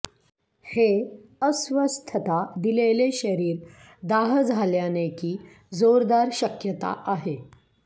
हे अस्वस्थता दिलेले शरीर दाह झाल्याने की जोरदार शक्यता आहे